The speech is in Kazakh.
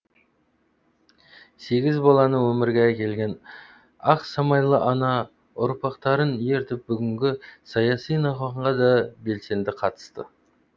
сегіз баланы өмірге әкелген ақсамайлы ана ұрпақтарын ертіп бүгінгі саяси науқанға да белсенді қатысты